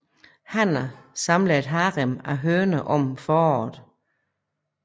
Hanner samler et harem af høner om foråret